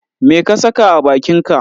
Me ka sa a bakinka?